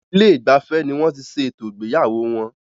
Ilé ìgbafẹ́ ní wọ́n tí ṣé ètò ìgbéyàwó wọn.